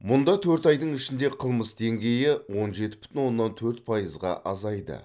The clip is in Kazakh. мұнда төрт айдың ішінде қылмыс деңгейі он жеті бүтін оннан төрт пайызға азайды